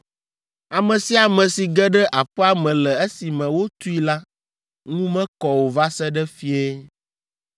“Ame sia ame si ge ɖe aƒea me le esime wotui la, ŋu mekɔ o va se ɖe fiẽ.